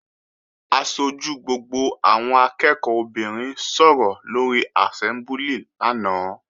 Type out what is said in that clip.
Aṣojú gbogbo àwọn akẹ́ẹ̀kọ́ obìnrin sọ̀rọ̀ lóri àsẹ́mbúlì lánàá